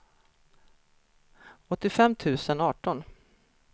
åttiofem tusen arton